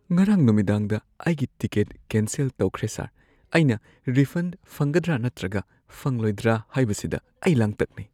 ꯉꯔꯥꯡ ꯅꯨꯡꯃꯤꯗꯥꯡꯗ ꯑꯩꯒꯤ ꯇꯤꯀꯦꯠ ꯀꯦꯟꯁꯦꯜ ꯇꯧꯈ꯭ꯔꯦ ꯁꯔ꯫ ꯑꯩꯅ ꯔꯤꯐꯟꯗ ꯐꯪꯒꯗ꯭ꯔꯥ ꯅꯠꯇ꯭ꯔꯒ ꯐꯪꯂꯣꯏꯗ꯭ꯔꯥꯥ ꯍꯥꯏꯕꯁꯤꯗ ꯑꯩ ꯂꯥꯡꯇꯛꯅꯩ꯫